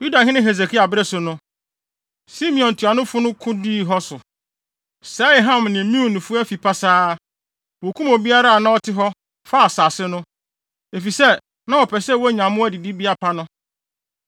Yudahene Hesekia bere so no, Simeon ntuanofo no ko dii hɔ so, sɛee Ham ne Meunifo afi pasaa. Wokum obiara a na ɔte hɔ, faa asase no, efisɛ, na wɔpɛ sɛ wonya mmoa didibea pa no.